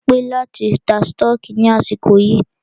Ṣé o pé láti ta stọọkí ní àsìkò yìí?